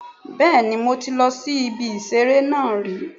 Bẹ́ẹ̀ni mo ti lọ sí ibi ìṣeré náà rí